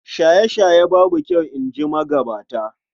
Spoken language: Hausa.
Shaye-shaye babu kyau, in ji magabata.